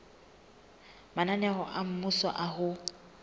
mananeo a mmuso a ho